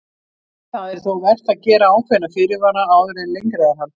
Það er þó vert að gera ákveðna fyrirvara áður en lengra er haldið.